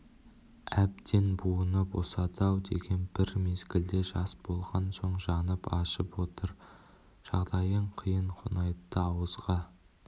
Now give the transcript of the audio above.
әбден буыны босады-ау деген бір мезгілде жас болған соң жаным ашып отыр жағдайың қиын қонаевты ауызға